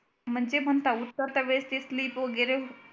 म्हणजे म्हणता उतरता वेळ ती slip वगैरे